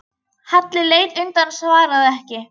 Halli leit undan og svaraði ekki.